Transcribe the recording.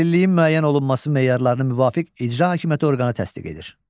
Əlilliyin müəyyən olunması meyarlarını müvafiq icra hakimiyyəti orqanı təsdiq edir.